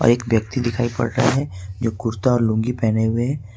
और एक व्यक्ति दिखाई पड़ रहा है जो कुर्ता और लुंगी पहने है।